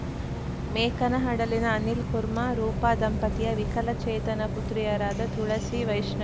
ಮೇಕನಹಡಲಿನ ಅನಿಲ್‌ಕುರ್ಮಾ ರೂಪಾ ದಂಪತಿಯ ವಿಕಲಚೇತನ ಪುತ್ರಿಯರಾದ ತುಳಸಿ ವೈಷ್ಣ